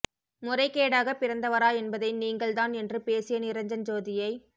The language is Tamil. முறைகேடாகப் பிறந்தவரா என்பதை நீங்கள் தான் என்று பேசிய நிரஞ்சன் ஜோதியை